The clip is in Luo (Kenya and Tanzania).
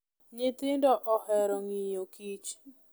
Nyithindo ohero ng'iyo kich.